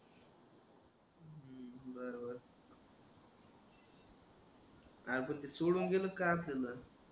अरे पण ते सोडून गेलं का आपल्याला